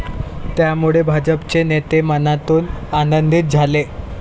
त्यामुळे भाजपचे नेते मनातून आनंदीत झाले.